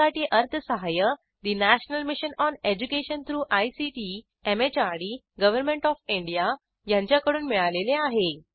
यासाठी अर्थसहाय्य national mission on education through ICT MHRD government of India यांच्याकडून मिळालेले आहे